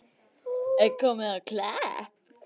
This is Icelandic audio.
Komið á Klepp?